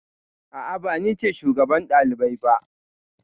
A'a, ba ni ce shugaban ɗalibai ba.